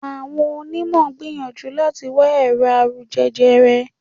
Àwọn onímọ̀ ń gbìyànjú láti wá ẹ̀rọ̀ àrùn jẹjẹrẹ